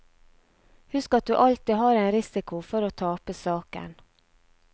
Husk at du alltid har en risiko for å tape saken.